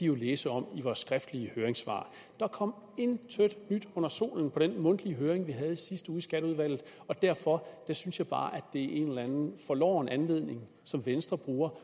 jo læse om i vores skriftlige høringssvar der kom intet nyt under solen på den mundtlige høring vi havde i sidste uge i skatteudvalget og derfor synes jeg bare det er en eller anden forloren anledning som venstre bruger